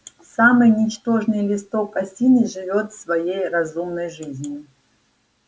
самый ничтожный листок осины живёт своей разумной жизнью